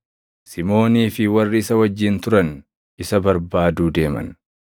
Simoonii fi warri isa wajjin turan isa barbaaduu deeman;